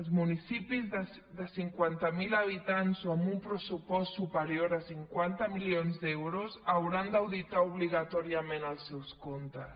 els municipis de cinquanta miler habitants o amb un pressupost superior a cinquanta milions d’euros hauran d’auditar obligatòriament els seus comptes